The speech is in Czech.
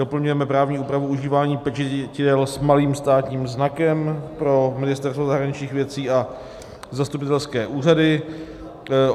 Doplňujeme právní úpravu užívání pečetidel s malým státním znakem pro Ministerstvo zahraničních věcí a zastupitelské úřady.